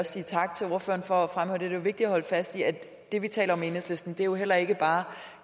sige tak til ordføreren for at fremhæve det er jo vigtigt at holde fast i at det vi taler om i enhedslisten heller ikke bare